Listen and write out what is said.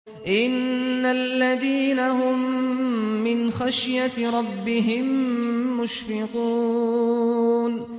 إِنَّ الَّذِينَ هُم مِّنْ خَشْيَةِ رَبِّهِم مُّشْفِقُونَ